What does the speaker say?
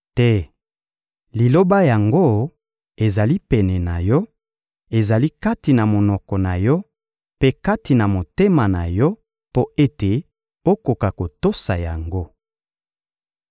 Te, liloba yango ezali pene na yo, ezali kati na monoko na yo mpe kati na motema na yo, mpo ete okoka kotosa yango.